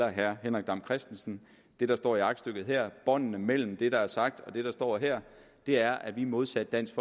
og herre henrik dam kristensen det der står i aktstykket her båndene mellem det der er sagt og det der står her er at vi modsat dansk